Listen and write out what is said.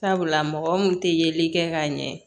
Sabula mɔgɔ min tɛ yeli kɛ ka ɲɛ